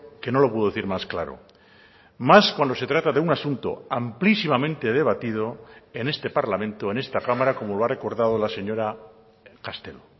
que no lo puedo decir más claro más cuando se trata de un asunto amplísimamente debatido en este parlamento en esta cámara como lo ha recordado la señora castelo